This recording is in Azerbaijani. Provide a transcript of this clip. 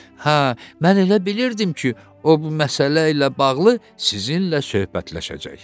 “Hə, mən elə bilirdim ki, o bu məsələ ilə bağlı sizinlə söhbətləşəcək.”